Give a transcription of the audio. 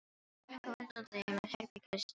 Hún gekk á undan þeim að herbergis- dyrum Halla.